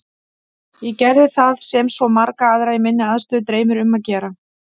Ég gerði það sem svo marga aðra í minni aðstöðu dreymir um að gera.